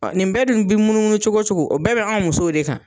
nin bɛɛ dun be munumunu cogo cogo o bɛɛ bɛ anw musow de kan.